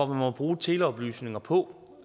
må bruge teleoplysninger på